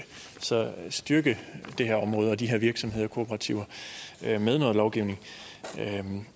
styrke det her område og de her virksomheder og kooperativer med noget lovgivning